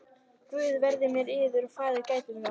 Guð veri með yður og farið gætilega.